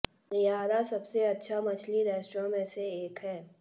नेयरा सबसे अच्छा मछली रेस्तरां रेस्तरां में से एक है